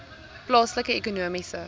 plaaslike ekonomiese